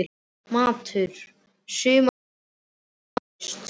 Matur: sumar, vetur, vor og haust.